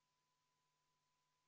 V a h e a e g